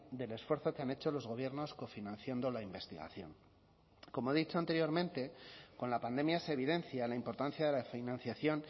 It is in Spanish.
del esfuerzo que han hecho los gobiernos cofinanciando la investigación como he dicho anteriormente con la pandemia se evidencia la importancia de la financiación